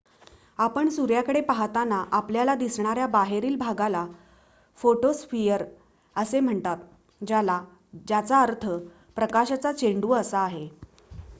"आपण सूर्याकडे पाहताना आपल्याला दिसणाऱ्या बाहेरील भागाला फोटोस्फिअर असे म्हणतात ज्याचा अर्थ "प्रकाशाचा चेंडू" असा आहे.